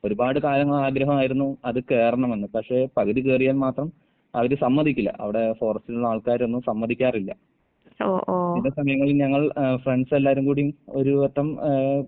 ഒരുപാട് കാലങ്ങളെ ആഗ്രഹമായിരുന്നു അത് കേറണമെന്ന്. പക്ഷെ പകുതി കേറിയാൽ മാത്രം അവര് സമ്മതിക്കില്ല. അവടെ ഫോറസ്റ്റിലുള്ള ആൾക്കാരൊന്നും സമ്മതിക്കാറില്ല. ചില സമയങ്ങളിൽ ഞങ്ങൾ എഹ് ഫ്രണ്ട്‌സ് എല്ലാരും കൂടി ഒരു വട്ടം ഏഹ്